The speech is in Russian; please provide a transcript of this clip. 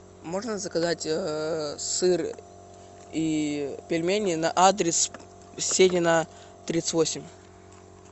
можно заказать сыр и пельмени на адрес сенина тридцать восемь